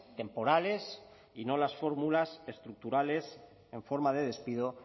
temporales y no las fórmulas estructurales en forma de despido